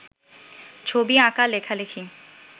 ছবি আঁকা লেখালেখি